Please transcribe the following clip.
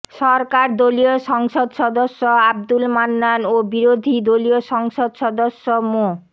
সরকার দলীয় সংসদ সদস্য আব্দুল মান্নান ও বিরোধী দলীয় সংসদ সদস্য মো